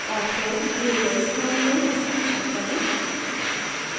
और फिर दिए गए स्थान में हस्ताक्षर करें